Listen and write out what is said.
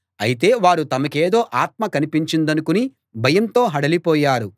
అయితే వారు తమకేదో ఆత్మ కనిపించిందనుకుని భయంతో హడలిపోయారు